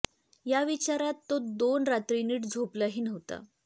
या विचारात तो दोन रात्री नीट झोपला ही नव्हता